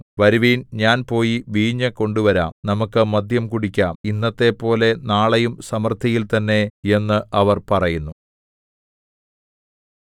വരുവിൻ ഞാൻ പോയി വീഞ്ഞുകൊണ്ടുവരാം നമുക്കു മദ്യം കുടിക്കാം ഇന്നത്തെപ്പോലെ നാളെയും സമൃദ്ധിയിൽ തന്നെ എന്ന് അവർ പറയുന്നു